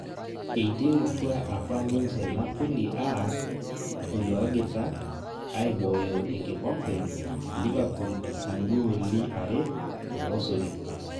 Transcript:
Eiterutua apa ninje Napoli arr iloogita aibooyo enkikompe Liverpool igooli are tormosori